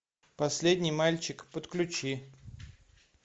последний мальчик подключи